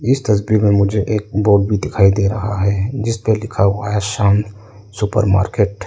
इस तस्वीर में मुझे एक बोर्ड भी दिखाई दे रहा है। जिसपे लिखा हुआ है शाम सुपर मार्केट ।